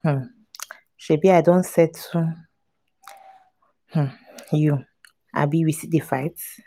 um shebi i don settle um you abi we dey still fight?